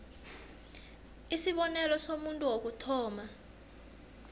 isibonelo somuntu wokuthoma